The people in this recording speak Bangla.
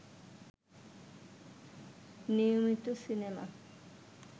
নিয়মিত সিনেমা